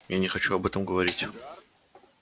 я не хочу об этом говорить